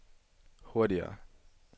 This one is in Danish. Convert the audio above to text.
hurtigere